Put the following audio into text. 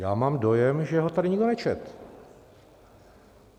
Já mám dojem, že ho tady nikdo nečetl.